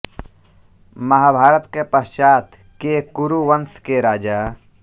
महाभारत के पश्चात के कुरु वंश के राजा